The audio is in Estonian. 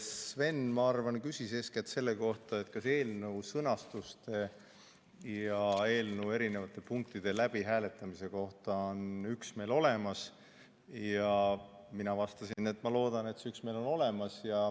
Sven, ma arvan, küsis eeskätt selle kohta, kas eelnõu sõnastuse ja eelnõu erinevate punktide läbihääletamise kohta on üksmeel olemas, ja mina vastasin, et ma loodan, et see üksmeel on olemas.